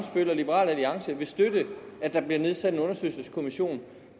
liberal alliance vil støtte at der bliver nedsat en undersøgelseskommission